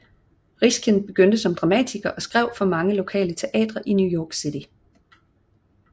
Riskin begyndte som dramatiker og skrev for mange lokale teatre i New York City